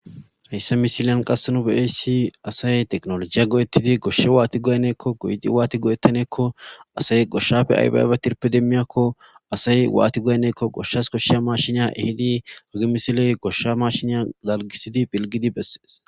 Hayssa missiliyan qasse nu be'iyayssi assay tekinoljjiya go'etidi assay goshsha wani goyanakko goyetiidi wani goyettanakko assay goshshappe ayba ayba tiirppe demiiyakko assay watti goyanakko goshshas koshiiya mashiniya hehiidi hagey misiley goshshas mashiniya dalggisiidi pilggidi besees